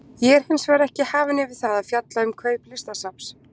Ég er hins vegar ekki hafinn yfir það að fjalla um kaup Listasafns